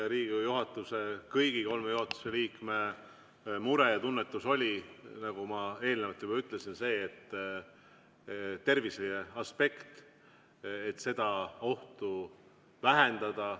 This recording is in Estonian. Riigikogu juhatuse, kõigi kolme juhatuse liikme mure ja tunnetus oli, nagu ma eelnevalt juba ütlesin, see terviseaspekt, et ohtu vähendada.